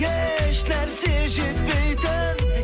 еш нәрсе жетпейтін